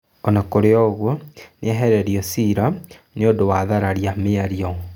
Ona kũrĩ ũguo nĩehereirio ciira nĩũndũ wa thararia mĩario.